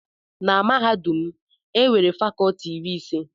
Na mahadum m, e nwere fakọlti iri ise.